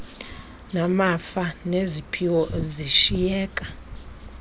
namafa neziphiwo zishiyeka